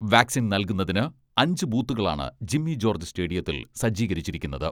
Vaccine നൽകുന്നതിന് അഞ്ചു ബൂത്തുകളാണ് ജിമ്മി ജോർജ് സ്റ്റേഡിയത്തിൽ സജ്ജീകരിച്ചിരുന്നത്.